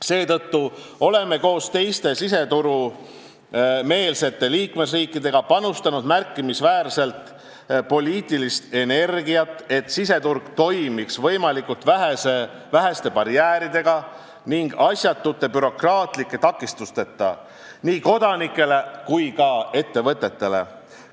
Seetõttu oleme koos teiste siseturumeelsete liikmesriikidega panustanud märkimisväärselt poliitilist energiat, et siseturg toimiks võimalikult väheste barjääridega ning asjatute bürokraatlike takistusteta nii kodanikele kui ka ettevõtetele.